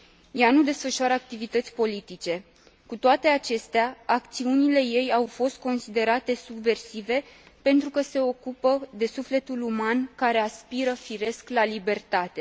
Ea nu desfășoară activități politice, cu toate acestea acțiunile ei au fost considerate subversive pentru că se ocupă de sufletul uman, care aspiră, firesc, la libertate.